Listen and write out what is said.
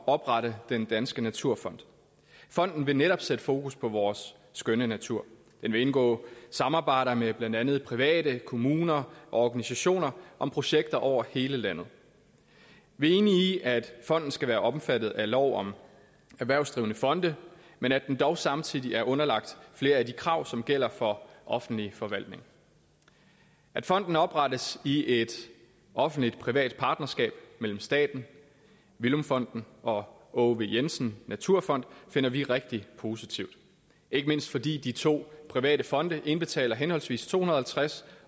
oprette den danske naturfond fonden vil netop sætte fokus på vores skønne natur den vil indgå samarbejder med blandt andet private kommuner og organisationer om projekter over hele landet vi er enige i at fonden skal være omfattet af lov om erhvervsdrivende fonde men at den dog samtidig er underlagt flere af de krav som gælder for offentlig forvaltning at fonden oprettes i et offentlig privat partnerskab mellem staten villum fonden og aage v jensen naturfond finder vi rigtig positivt ikke mindst fordi de to private fonde indbetaler henholdsvis to hundrede og halvtreds